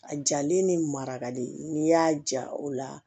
A jalen ni marakali n'i y'a ja o la